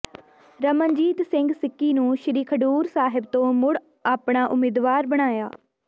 ਰਮਨਜੀਤ ਸਿੰਘ ਸਿੱਕੀ ਨੂੰ ਸ਼੍ਰੀ ਖਡੂਰ ਸਾਹਿਬਤੋਂ ਮੁੜ ਆਪਣਾ ਉਮੀਦਵਾਰ ਬਣਾਇਆ